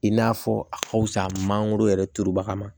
I n'a fɔ a ka fisa mangoro yɛrɛ turubaga ma